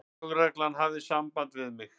Lögreglan hafði samband við mig.